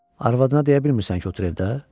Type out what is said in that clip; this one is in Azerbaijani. Arvadına deyə bilmirsən ki, otur evdə?